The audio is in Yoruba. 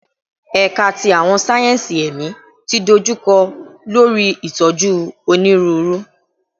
Ẹka ti Awọn sáyẹnsì Ẹmi ti dojukọ lori itoju Oniruuru